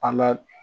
An ka